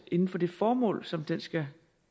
inden for det formål som den skal